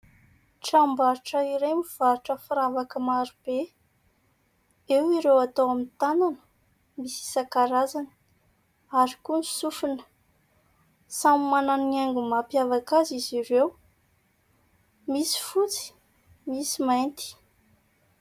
Tranom-barotra iray mivarotra firavaka marobe. Eo ireo atao amin'ny tanana, misy isan-karazany, ary koa ny sofina. Samy manana ny haingo mampiavaka azy izy ireo. Misy fotsy, misy mainty.